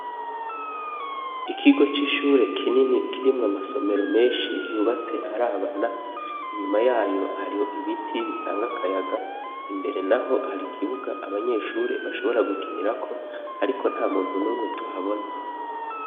Ikigo c'ishure kinini kirimwo amasomero menshi yubatse arabana inyuma yayo hariho ibiti bitanga akayaga imbere na ho hari ikibuga abanyeshure bashobora gukinirako, ariko nta muntu n'umwe tuhabona.